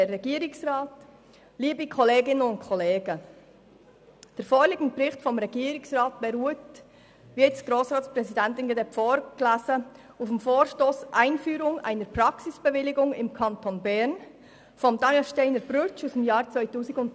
Der vorliegende Bericht des Regierungsrats beruht auf dem Vorstoss «Einführung einer Praxisbewilligung im Kanton Bern» von Daniel SteinerBrütsch aus dem Jahr 2013.